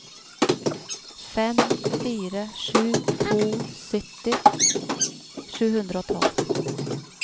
fem fire sju to sytti sju hundre og tolv